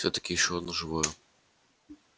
всё-таки ещё одно живо